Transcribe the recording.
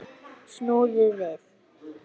Snúðu við!